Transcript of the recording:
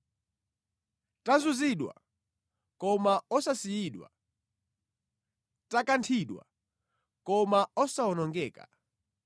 tazunzidwa, koma osasiyidwa; takanthidwa, koma osawonongeka.